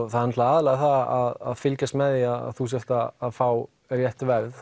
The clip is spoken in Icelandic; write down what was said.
það er aðallega að fylgjast með því að þú sért að fá rétt verð